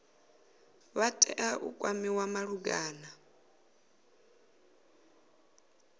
vha tea u kwamiwa malugana